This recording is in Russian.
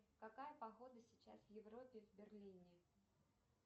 какая погода сейчас в европе в берлине